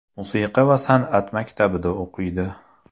Musiqa va san’at maktabida o‘qiydi.